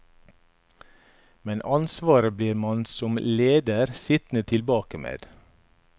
Men ansvaret blir man som leder sittende tilbake med.